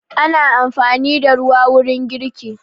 Ana amfani da ruwa wurin girki.